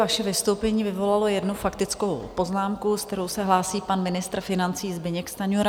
Vaše vystoupení vyvolalo jednu faktickou poznámku, se kterou se hlásí pan ministr financí Zbyněk Stanjura.